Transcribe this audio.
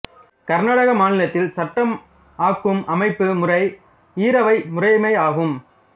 கர்நாடக மாநிலத்தில் சட்டம் ஆக்கும் அமைப்பு முறை ஈரவை முறைமை ஆகும்